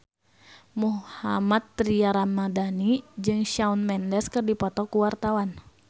Mohammad Tria Ramadhani jeung Shawn Mendes keur dipoto ku wartawan